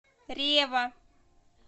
рева